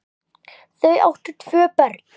Þau áttu tvö börn.